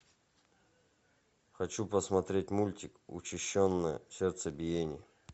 хочу посмотреть мультик учащенное сердцебиение